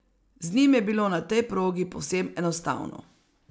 Z njim je bilo na tej progi povsem enostavno.